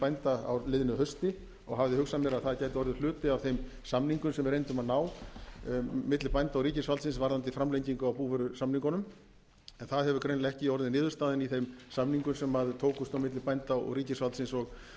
bænda á liðnu hausti og hafði hugsað mér að það gæti orðið hluti af þeim samningum sem við reyndum að ná milli bænda og ríkisvaldsins varðandi framlengingu á búvörusamningunum en það hefur greinilega ekki orðið niðurstaðan í þeim samingum sem tókust á milli bænda og ríkisvaldsins